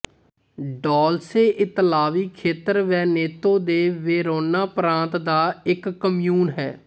Dolce ਇਤਾਲਵੀ ਖੇਤਰ Veneto ਦੇ ਵੇਰੋਨਾ ਪ੍ਰਾਂਤ ਦਾ ਇੱਕ ਕਮਿਉਨ ਹੈ